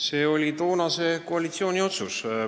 See oli toonase koalitsiooni otsus.